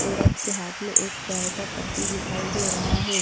औरत के हाथ में एक चाय का कप भी दिखाई दे रहा है।